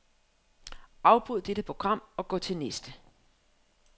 Afbryd dette program og gå til næste.